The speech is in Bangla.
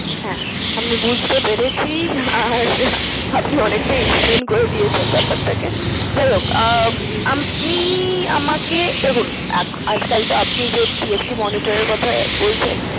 হ্যাঁ আমি বুঝতে পেরেছি, আর আপনি অনেকটাই explain করে দিয়েছেন ব্যাপারটাকে যাই হোক আহ আপনি আমাকে দেখুন আজকাল তো আপনি যে TFT monitor এর কথা বলছেন